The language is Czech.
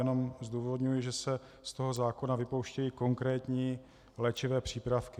Jenom zdůvodňuji, že se z toho zákona vypouštějí konkrétní léčivé přípravky.